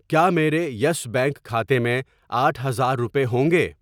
کیا میرے Yes Bank کھاتے میں آٹھ ہزار روپے ہوںگے؟